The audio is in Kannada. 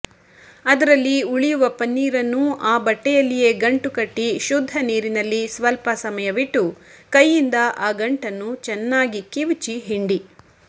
ಅದರಲ್ಲಿಉಳಿಯುವ ಪನೀರನ್ನು ಆ ಬಟ್ಟೆಯಲ್ಲಿಯೇ ಗಂಟು ಕಟ್ಟಿ ಶುದ್ಧ ನೀರಿನಲ್ಲಿಸ್ವಲ್ಪ ಸಮಯವಿಟ್ಟು ಕೈಯಿಂದ ಆ ಗಂಟನ್ನು ಚೆನ್ನಾಗಿ ಕಿವುಚಿ ಹಿಂಡಿ